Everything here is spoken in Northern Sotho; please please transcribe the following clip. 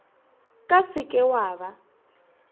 ka se ke wa ba